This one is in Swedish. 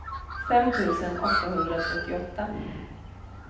fem tusen åttahundratrettioåtta